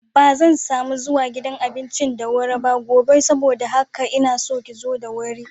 Bazan samu zuwa gidan abincin da wuri ba gobe saboda haka inaso ki zo da wuri.